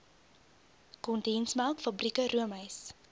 kondensmelk fabrieke roomys